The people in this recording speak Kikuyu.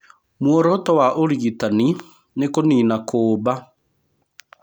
Mũoroto wa ũrigitani nĩ kũnina kuumba.